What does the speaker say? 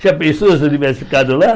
Já pensou se eu tivesse ficado lá?